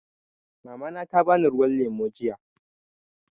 Mamana ta bani ruwan lemu jiya.